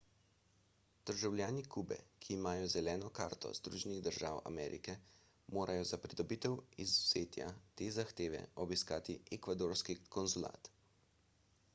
državljani kube ki imajo zeleno karto združenih držav amerike morajo za pridobitev izvzetja te zahteve obiskati ekvadorski konzulat